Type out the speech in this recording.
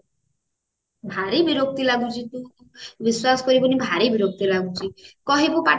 ଭାରି ବିରକ୍ତ ଲାଗୁଛି ବିଶ୍ବାସ କରିବୁନି ଭାରି ବିରକ୍ତ ଲାଗୁଛି କହିବୁ ପାଟି